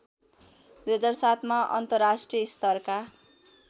२००७ मा अन्तर्राष्ट्रिय स्तरका